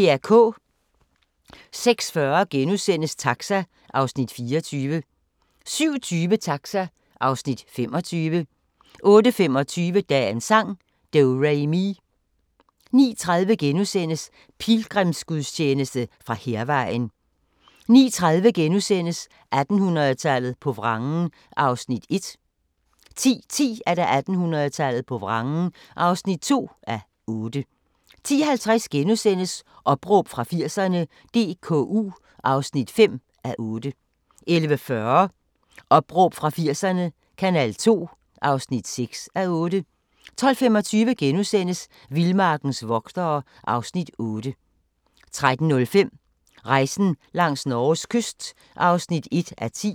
06:40: Taxa (Afs. 24)* 07:20: Taxa (Afs. 25) 08:25: Dagens sang: Do-re-mi 08:30: Pilgrimsgudstjeneste fra Hærvejen * 09:30: 1800-tallet på vrangen (1:8)* 10:10: 1800-tallet på vrangen (2:8) 10:50: Opråb fra 80'erne – DKU (5:8)* 11:40: Opråb fra 80'erne – Kanal 2 (6:8) 12:25: Vildmarkens vogtere (Afs. 8)* 13:05: Rejsen langs Norges kyst (1:10)